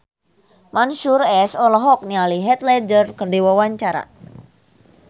Mansyur S olohok ningali Heath Ledger keur diwawancara